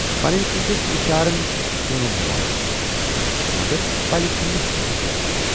پنٕنۍ کِنۍ چھَس اِشارن کٲم ہٮ۪وان، مگر پلہِ چھُم نہٕ کِنہی پٮ۪وان۔